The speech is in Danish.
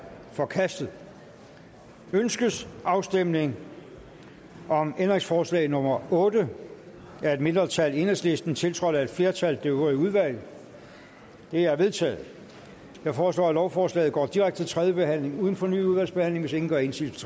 forkastet ønskes afstemning om ændringsforslag nummer otte af et mindretal enhedslisten tiltrådt af et flertal det øvrige udvalg det er vedtaget jeg foreslår at lovforslaget går direkte til tredje behandling uden fornyet udvalgsbehandling hvis ingen gør indsigelse